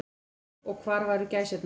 Og hvar væru gæsirnar.